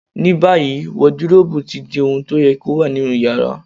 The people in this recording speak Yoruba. Ní báyìí, wọdiróòbù ti di ohun to yẹ kó wà nínú yàrá.